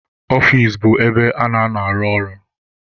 Ọfici bụ ebe a na-anọ arụ ọrụ.